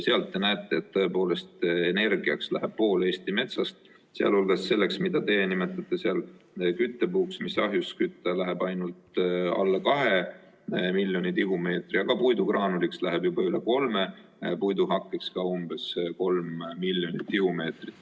Sealt te näete, et tõepoolest läheb energiaks pool Eesti metsast ja sealhulgas selleks, mida teie nimetate küttepuuks, millega saab ahjusid kütta, läheb ainult alla 2 miljoni tihumeetri, aga puidugraanuliks läheb juba üle 3 miljoni, puiduhakkeks ka umbes 3 miljonit tihumeetrit.